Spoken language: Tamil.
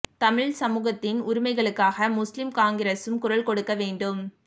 தமிழ் சமூகத்தின் உரிமைகளுக்காக முஸ்லிம் காங்கிரசும் குரல் கொடுக்க வேண்டும்